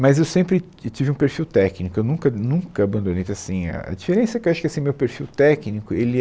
Mas eu sempre ti tive um perfil técnico, eu nunca, nunca abandonei, então assim, a diferença é que eu acho que esse meu perfil técnico, ele